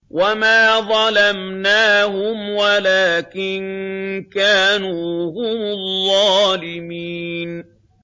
وَمَا ظَلَمْنَاهُمْ وَلَٰكِن كَانُوا هُمُ الظَّالِمِينَ